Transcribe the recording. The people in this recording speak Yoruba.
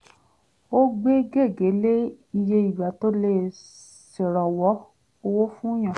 ó gbé gègé lé iye ìgbà tó lè ṣèrànwọ́ owó fún yàn